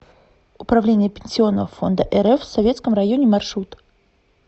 управление пенсионного фонда рф в советском районе маршрут